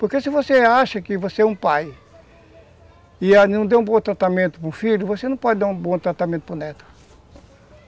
Porque se você acha que você é um pai e não deu um bom tratamento para o filho, você não pode dar um bom tratamento para o neto.